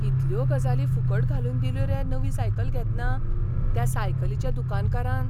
कितल्यो गजाली फुकट घालून दिल्यो रे नवी सायकल घेतना त्या सायकलीच्या दुकानकारान!